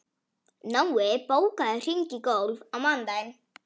Nói, bókaðu hring í golf á mánudaginn.